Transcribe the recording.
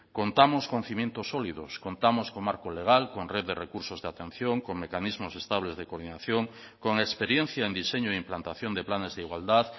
contamos con cimientos sólidos contamos con marco legal con red de recursos de atención con mecanismos estables de coordinación con experiencia en diseño e implantación de planes de igualdad